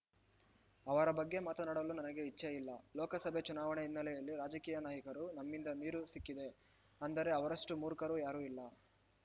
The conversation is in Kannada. ಅವರ ಬಗ್ಗೆ ಮಾತನಾಡಲು ನನಗೆ ಇಚ್ಛೆ ಇಲ್ಲ ಲೋಕಸಭೆ ಚುನಾವಣೆ ಹಿನ್ನೆಲೆಯಲ್ಲಿ ರಾಜಕೀಯ ನಾಯಕರು ನಮ್ಮಿಂದ ನೀರು ಸಿಕ್ಕಿದೆ ಅಂದರೆ ಅವರಷ್ಟುಮೂರ್ಖರು ಯಾರಿಲ್ಲ